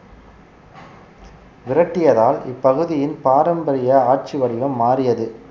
விரட்டியதால் இப்பகுதியின் பாரம்பரிய ஆட்சி வடிவம் மாறியது